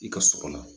I ka so kɔnɔ